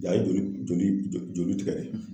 Nga ye joli joli joli tigɛ